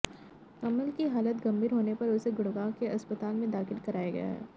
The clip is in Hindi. कमल की हालत गंभीर होने पर उसे गुडग़ांव के अस्पताल में दाखिल कराया गया है